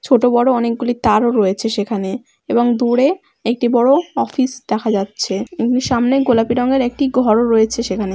ছোট বড়ো অনেকগুলি তারও রয়েছে সেখানে এবং দূরে একটি বড়ো অফিস দেখা যাচ্ছে। এবং সামনে গোলাপি রঙের একটি ঘর রয়েছে সেখানে।